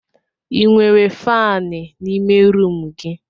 Ị nwere faani n'ime rumụ gị?